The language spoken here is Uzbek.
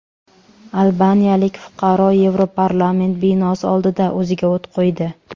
Albaniyalik fuqaro Yevroparlament binosi oldida o‘ziga o‘t qo‘ydi.